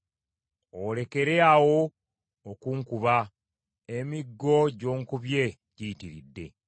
Olekere awo okunkuba, emiggo gy’onkubye giyitiridde!